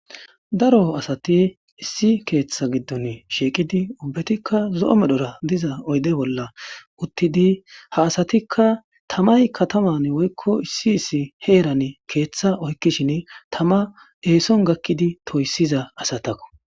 Darro assati issi ketha giddoni shiqidi ubbatikka zo'o medhora diza oyidde bolla utidi ha aasatika tamayi katama issi herani ketha oyikishini tama essoni gakidi toyisida assatako